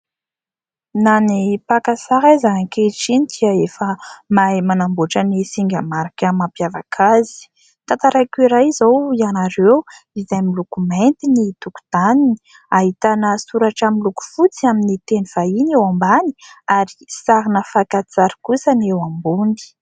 Na ny mpaka sary aza ankehitriny dia efa mahay manamboatra ny singa marika mampiavaka azy. Tantaraiko iray izao ianareo, izay miloko mainty ny tokontaniny, ahitana soratra miloko fotsy amin'ny teny vahiny eo ambany, ary sarina fakantsary kosa ny eo ambony.